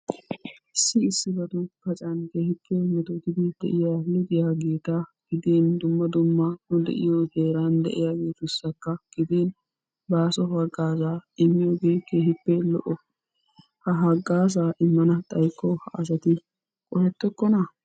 Issi issibatun paccan keehippe metootidi de'iyaa lixiyaageta gidin dumma dumma heeran de'iyaagetussaka gidin baaso haagaazaa immiyoogee keehippe lo"o. ha hagaazaa immana xaayikko ha asati qohettookona?